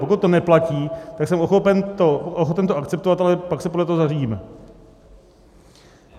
Pokud to neplatí, tak jsem ochoten to akceptovat, ale pak se podle toho zařídíme.